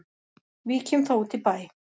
Víkjum þá út í bæ.